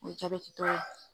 O jabɛti tɔ ye.